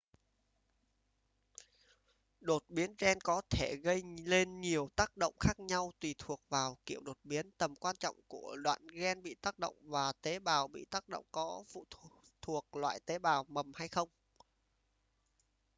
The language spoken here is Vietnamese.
đột biến gen có thể gây nên nhiều tác động khác nhau tùy thuộc vào kiểu đột biến tầm quan trọng của đoạn gen bị tác động và tế bào bị tác động có thuộc loại tế bào mầm hay không